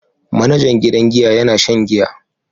Manajan gidan giya yana shan giya.